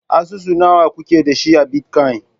Asusu nawa kuke da su a bitcoin?